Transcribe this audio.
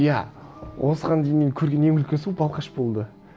иә осыған дейін мен көрген ең үлкен су балқаш болды